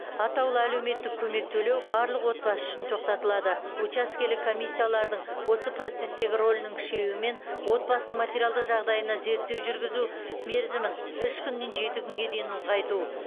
атаулы әлеуметтік көмек төлеу барлық отбасы үшін тоқтатылады учаскелік комиссиялардың осы процесстегі рөлінің күшеюімен отбасының материалдық жағдайына зерттеу жүргізу мерзімін үш күннен жеті күнге дейін ұлғайту